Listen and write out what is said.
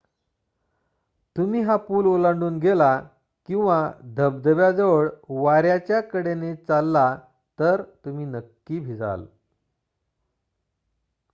तुम्ही हा पूल ओलांडून गेला किंवा धबधब्याजवळ वाऱ्याच्या कडेने चालला तर तुम्ही नक्की भिजाल